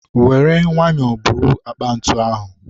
were nwayọ buru akpa ntu ahụ